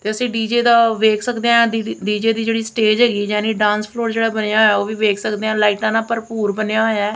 ਤੇ ਅਸੀਂ ਡੀ_ਜੇ ਦਾ ਵੇਖ ਸਕਦੇ ਆਂ ਡੀ_ਜੇ ਦੀ ਜਿਹੜੀ ਸਟੇਜ ਹੈਗੀ ਜਾਨੀ ਡਾਂਸ ਫ੍ਲੋਰ ਜਿਹੜਾ ਬਣਿਆ ਹੋਇਆ ਉਹ ਵੀ ਵੇਖ ਸਕਦੇ ਆ ਲਾਈਟਾਂ ਨਾਲ ਭਰਪੂਰ ਬਣਿਆ ਹੋਇਆ ਹੈ।